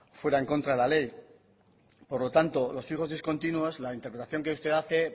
fuera en contra de la ley por lo tanto los fijos discontinuos la interpretación que usted hace